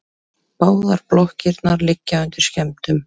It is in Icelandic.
Báðar blokkirnar liggja undir skemmdum